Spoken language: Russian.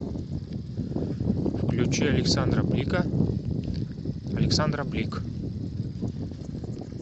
включи александра блика александра блик